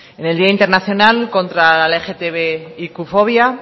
en el día internacional contra la lgtbiq fobia